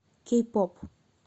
кей поп